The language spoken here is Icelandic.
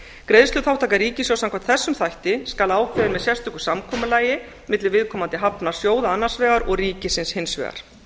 greiðsluþátttaka ríkissjóðs samkvæmt þessum þætti skal ákveðin með sérstöku samkomulagi milli viðkomandi hafnarsjóða annars vegar og ríkisins hins vegar